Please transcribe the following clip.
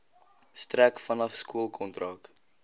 strek vanaf skoolkontak